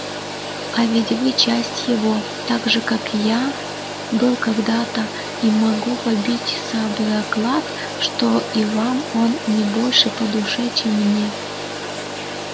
а ведь вы часть его так же как и я был когда-то и могу побиться об заклад что и вам он не больше по душе чем мне